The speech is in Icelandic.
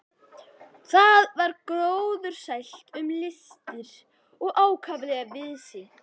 Þar var gróðursælt um að litast og ákaflega víðsýnt.